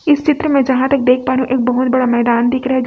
इस चित्र में यहां तक देख पा रही हूं एक बहुत बड़ा मैदान दिख रहा है।